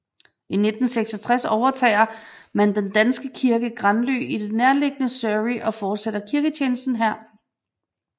I 1966 overtager man den danske kirke Granly i det nærliggende Surrey og fortsætter kirketjenesten her